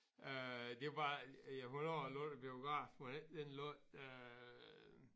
Øh det var ja hvornår lå der en biograf mon ikke den lå øh